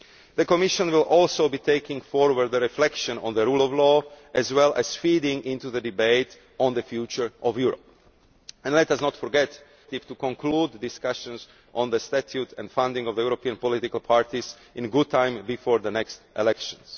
The Commission will also be taking forward the reflection on the rule of law as well as feeding into the debate on the future of Europe. And let us not forget our common objective to conclude discussions on the statute and funding of European political parties in good time before the next elections.